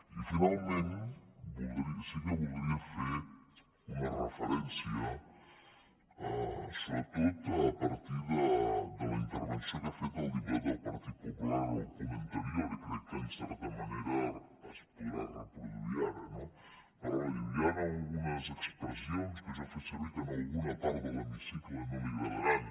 i finalment sí que voldria fer una referència sobretot a partir de la intervenció que ha fet el diputat del partit popular en el punt anterior i crec que en certa manera es podrà reproduir ara no parlava i diu hi han algunes expressions que jo he fet servir que a alguna part de l’hemicicle no li agradaran